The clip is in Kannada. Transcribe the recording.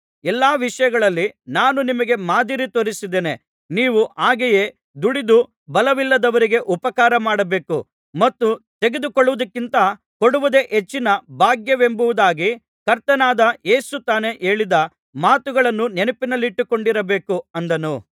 ಎಲ್ಲಾ ವಿಷಯಗಳಲ್ಲಿ ನಾನು ನಿಮಗೆ ಮಾದರಿ ತೋರಿಸಿದ್ದೇನೆ ನೀವು ಹಾಗೆಯೇ ದುಡಿದು ಬಲವಿಲ್ಲದವರಿಗೆ ಉಪಕಾರಮಾಡಬೇಕು ಮತ್ತು ತೆಗೆದುಕೊಳ್ಳುವುದಕ್ಕಿಂತ ಕೊಡುವುದೇ ಹೆಚ್ಚಿನ ಭಾಗ್ಯವೆಂಬುದಾಗಿ ಕರ್ತನಾದ ಯೇಸು ತಾನೇ ಹೇಳಿದ ಮಾತುಗಳನ್ನು ನೆನಪಿನಲ್ಲಿಟ್ಟುಕೊಂಡಿರಬೇಕು ಅಂದನು